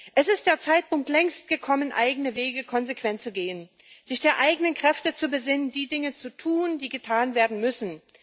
Es ist längst der Zeitpunkt gekommen, eigene Wege konsequent zu gehen, sich auf die eigenen Kräfte zu besinnen, die Dinge zu tun, die getan werden müssen.